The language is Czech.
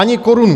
Ani korunu!